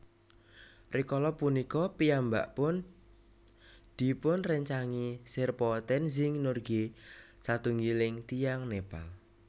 Rikala punika piyambakpun dipunrèncangi sherpa Tenzing Norgay satunggiling tiyang Nepal